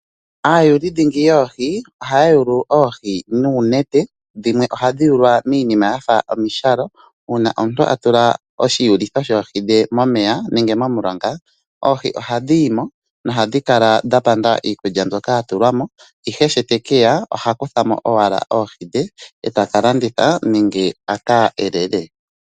Aayuli dhingi yoohi, ohaya yulu oohi nuunete dhimwe ohadhi yulwa miinima yafa omishalo. Uuna omuntu a tula oshiyulitho shoohi dhe momeya nenge momulonga, oohi ohadhi yimo nohadhi kala dha panda iikulya mbyoka ya tulwamo, ihe shi tekeya oha kuthamo owala oohi dhe e taka landitha nenge aka elele.